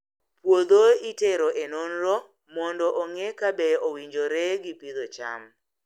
Puodho itero e nonro mondo ong'e kabe owinjore gi pidho cham.